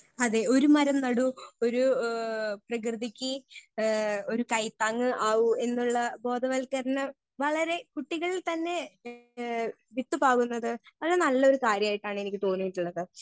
Speaker 1 അതേ ഒരു മരം നടൂ ഒരു ഏ പ്രകൃതിക്ക് ഏ ഒരു കൈത്താങ്ങ് ആവൂ എന്നുള്ള ബോധവൽക്കരണം വളരെ കുട്ടികളിൽ തന്നെ ഏ വിത്ത് പാകുന്നത് വളരെ നല്ലൊരു കാര്യായിട്ടാണ് എനിക്ക് തോന്നീട്ടുള്ളത്.